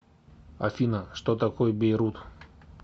афина что такое бейрут